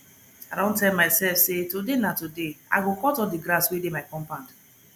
i don tell my self say today na today i go cut all the grass wey dey my compound